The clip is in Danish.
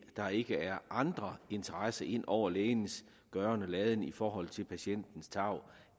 der ikke er andre interesser ind over lægens gøren og laden i forhold til patientens tarv